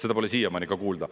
Seda pole siiamaani kuulda.